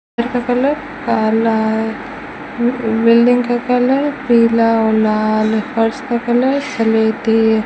घर का कलर अह लाल बिल्डिंग का कलर पीला और लाल फर्श का कलर स्लेटी --